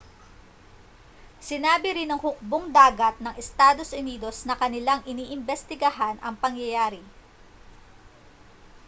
sinabi rin ng hukbong-dagat ng estados unidos na kanilang iniimbestigahan ang pangyayari